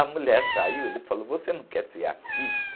A mulher saiu, ele falou, você não quer ser artista?